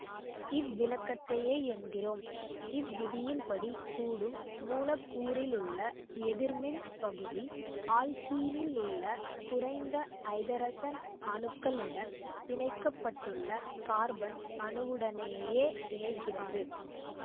இவ்விளக்கத்தையே என்கிறோம் இவ்விதியின்படி கூடும் மூலக்கூறிலுள்ள எதிர்மின் பகுதி ஆல்க்கீனிலுள்ள குறைந்த ஐதரசன் அணுக்களுடன் பிணைக்கப்பட்டுள்ள கார்பன் அணுவுடனேயே இணைகிறது